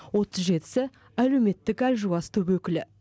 отыз жетісі әлеуметтік әлжуаз топ өкілі